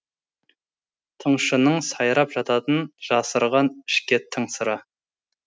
тыңшының сайрап жататын жасырған ішке тың сыры